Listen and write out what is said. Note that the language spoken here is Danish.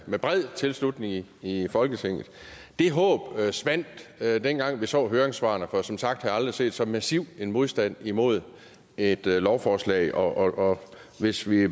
med bred tilslutning i folketinget det håb svandt dengang vi så høringssvarene for som sagt har jeg aldrig set så massiv en modstand mod et lovforslag og hvis vi